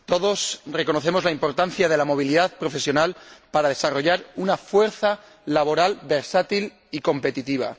Todos reconocemos la importancia de la movilidad profesional para desarrollar una fuerza laboral versátil y competitiva.